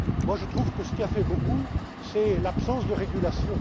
beaucoup. Moi je trouve que ce qui a fait beaucoup c'est l'absence de